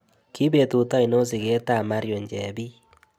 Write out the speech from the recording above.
Ki betut ainon sigetap marion chebii